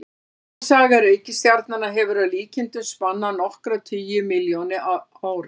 Myndunarsaga reikistjarnanna hefur að líkindum spannað nokkra tugi milljóna ára.